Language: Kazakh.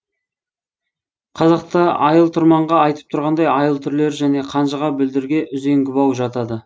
қазақта айыл тұрманға айтып тұрғандай айыл түрлері және қанжыға бүлдірге үзеңгі бау жатады